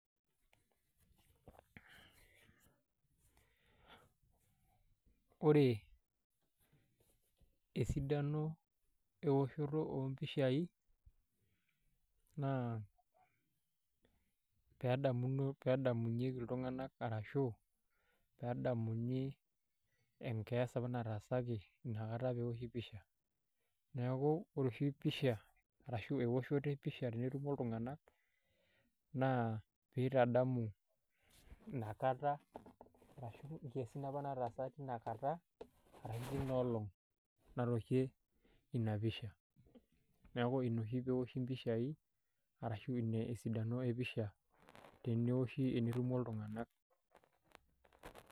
Wore, esidano eoshoto oompichai, naa pee edamuno pee edamunyeki iltunganak arashu, pee endamuni enkias apa nataasaki inakata pee eoshi picha, neeku wore oshi peoshi picha, ashu eoshoto ee picha tenetumo iltunganak naa pee itadamu inakata arashu nataasa tiniakata arashu tenioolong natooshie Ina picha. Neeku Ina oshi pee eoshi impichai arashu Ina esidano e picha teneoshi tenetumo iltunganak.